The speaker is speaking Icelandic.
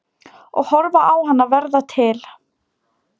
Og horfa á hana verða til.